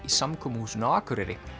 í samkomuhúsinu á Akureyri